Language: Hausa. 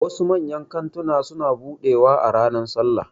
Wasu manyan kantuna suna buɗewa a ranar sallah